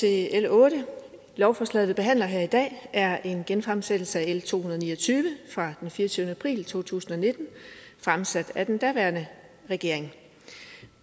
til l ottende lovforslaget vi behandler her i dag er en genfremsættelse af l to hundrede og ni og tyve fra den fireogtyvende april to tusind og nitten fremsat af den daværende regering